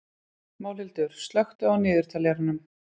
Málhildur, slökktu á niðurteljaranum.